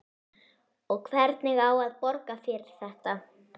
Og hvernig á að borga fyrir þetta?